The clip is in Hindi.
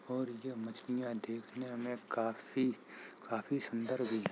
और ये मछलियां देखने मैं काफी काफी सुन्दर भी हैं।